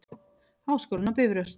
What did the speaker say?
Háskólinn á Bifröst.